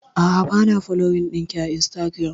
A'a bana foloyin ɗinki a instagiram